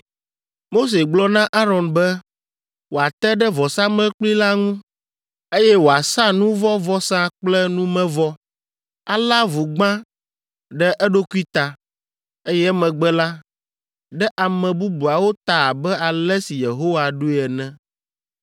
Mose gblɔ na Aron be wòate ɖe vɔsamlekpui la ŋu, eye wòasa nu vɔ̃ vɔsa kple numevɔ, alé avu gbã ɖe eɖokui ta, eye emegbe la, ɖe ame bubuawo ta abe ale si Yehowa ɖo ene.